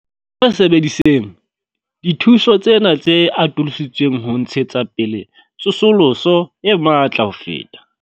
Sebedisetseng dithuso tsena tse atolotsweng ho ntshetsa pele tsosoloso e matla ho feta.